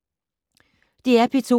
DR P2